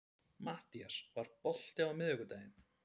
Mattías, er bolti á miðvikudaginn?